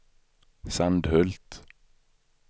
Sandhult